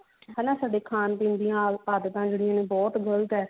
ਹਨਾ ਸਾਡੇ ਖਾਣ ਪੀਣ ਦੀਆਂ ਆਦਤਾਂ ਜਿਹੜੀਆਂ ਨੇ ਬਹੁਤ ਗਲਤ ਹੈ